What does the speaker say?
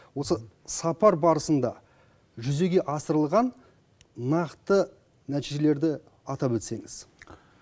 осы сапар барысында жүзеге асырылған нақты нәтижелерді атап өтсеңіз